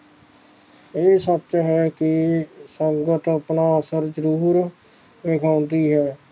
ਇਹ ਸੱਚ ਹੈ ਕਿ ਸੰਗਤ ਆਪਣਾ ਅਸਰ ਜ਼ਰੂਰ ਦਿਖਾਂਦੀ ਹੈ